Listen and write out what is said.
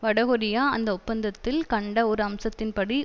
வடகொரியா அந்த ஒப்பந்தத்தில் கண்ட ஒரு அம்சத்தின்படி